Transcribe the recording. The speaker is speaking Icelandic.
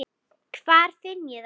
Hvar finn ég það?